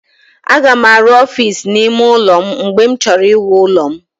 Aga m arụ ọfiisi n'ime ụlọ m mgbe m chọrọ iwu ụlọ m.